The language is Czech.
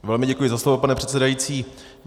Velmi děkuji za slovo, pane předsedající.